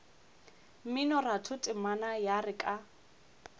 mminoratho temana ya re ka